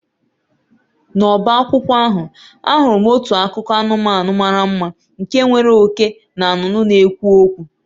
N'ọbá akwụkwọ ahụ, ahụrụ m otu akụkọ anụmanụ mara mma nke nwere oke na nnụnụ na-ekwu okwu